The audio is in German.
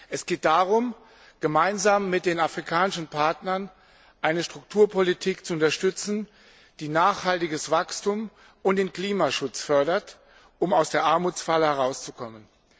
Es geht darum, gemeinsam mit den afrikanischen Partnern eine Strukturpolitik zu unterstützen, die nachhaltiges Wachstum und den Klimaschutz fördert, um aus der Armutsfalle herauszukommen.